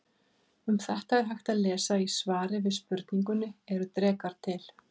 Um þetta er hægt að lesa í svari við spurningunni Eru drekar til?